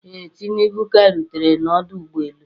Ee, tinubu ka rutere na ọdụ ụgbọ elu